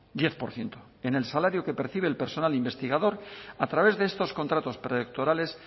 diez por ciento en el salario que percibe el personal investigador a través de estos contratos predoctorales